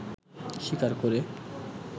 স্বীকার করে